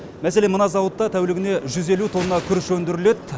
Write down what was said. мәселен мына зауытта тәулігіне жүз елу тонна күріш өндіріледі